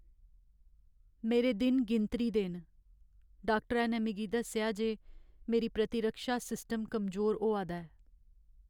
मेरे दिन गिनतरी दे न। डाक्टरै ने मिगी दस्सेआ जे मेरी प्रतिरक्षा सिस्टम कमजोर होआ दा ऐ।